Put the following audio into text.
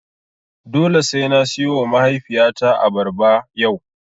Dole sai na siyowa mahaifiyata abarba yau.